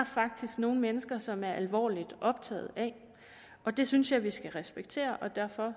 faktisk nogle mennesker som er alvorligt optaget af og det synes jeg vi skal respektere og derfor